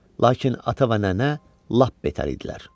Lakin ata və nənə lap betər idilər.